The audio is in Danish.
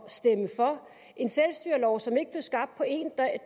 stemme for en selvstyrelov som ikke blev skabt på én dag